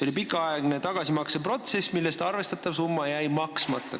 Oli pikaaegne tagasimakseprotsess, arvestatav summa jäi maksmata.